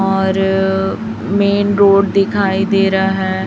और main road दिखाई दे रहा है।